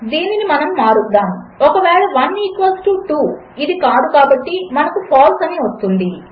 దీనినిమనముమారుద్దాము ఒకవేళ 1 ఈక్వల్స్ 2 అదికాదుకాబట్టి మనకు ఫాల్సే అనివస్తుంది